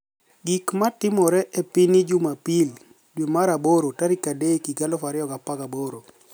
Gik ma timore e piniy jumapil, Dwe mar aboro 3, 2018